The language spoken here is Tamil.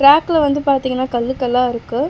டிராக்ல வந்து பாத்தீங்கனா கல்லு கல்லா இருக்கு.